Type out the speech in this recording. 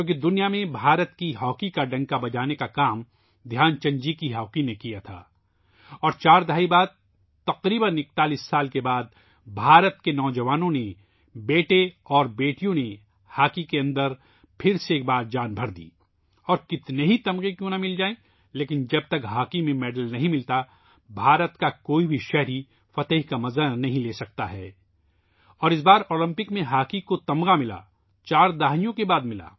پوری دنیا میں بھارت کی ہاکی کا ڈنکا بجانے کا کام دھیان چند جی کی ہاکی نے کیا تھا اور چار دہائیوں بعد ، تقریباً 41 سال بعد بھارت کے نو جوانوں نے ، بیٹے اور بیٹیوں نے ہاکی کے اندر پھر ایک بار جان ڈال دی ہے اور کتنے ہی تمغے کیوں نہ مل جائیں ، لیکن جب تک ہاکی میں تمغہ نہیں ملتا ، بھارت کا کوئی بھی شہری فتح کی خوشی حاصل نہیں کر سکتا ہے اور اس مرتبہ اولمپک میں ہاکی کا تمغہ ملا ، چار دہائیوں بعد ملا